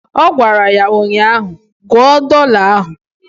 Ọ gwara ya ụnyaahụ "Gụọ dọla ahụ"